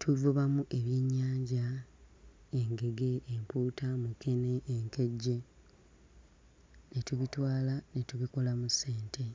tuvubamu ebyennyanja, engege ,empuuta, mukene, enkejje ne tubitwala ne tubikolamu ssente.